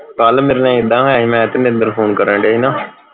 ਕੱਲ ਮੇਰੇ ਨਾਲ ਇੱਦਾ ਹੋਇਆ ਸੀ ਮੈਂ ਤੇ ਮਿੰਦਰ ਫੋਨ ਕਰਨ ਢਏ ਸੀ ਨਾ